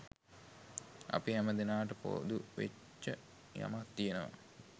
අපි හැම දෙනාට පොදු වෙච්ච යමක් තියෙනවා